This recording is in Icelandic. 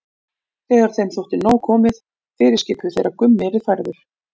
Þegar þeim þótti nóg komið fyrirskipuðu þeir að Gummi yrði færður.